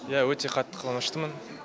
иә өте қатты қуаныштымын